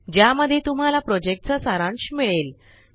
ज्यामध्ये तुम्हाला प्रॉजेक्टचा सारांश मिळेल